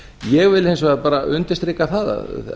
ég vil hins vegar bara undirstrika það að